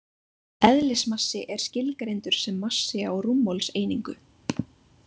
Eðlismassi er skilgreindur sem massi á rúmmálseiningu.